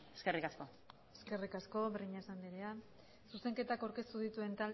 eskerrik asko eskerrik asko breñas andrea zuzenketak aurkeztu dituen